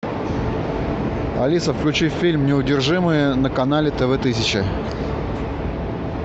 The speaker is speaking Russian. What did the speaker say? алиса включи фильм неудержимые на канале тэ вэ тысяча